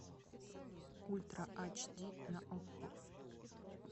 ультра ач ди на окко